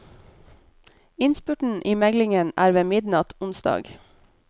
Innspurten i meglingen er ved midnatt onsdag.